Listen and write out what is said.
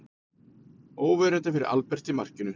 Óverjandi fyrir Albert í markinu.